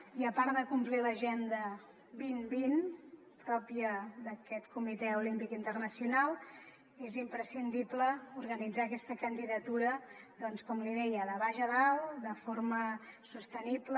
i a part de complir l’agenda dos mil vint pròpia d’aquest comitè olímpic internacional és imprescindible organitzar aquesta candidatura doncs com li deia de baix a dalt de forma sostenible